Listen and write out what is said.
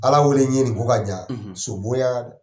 Ala wele n ye nin ko ka jan so bon y'a di.